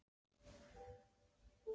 Dútlandi við okkur eins og dúkkur.